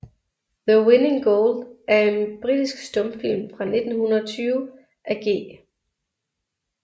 The Winning Goal er en britisk stumfilm fra 1920 af G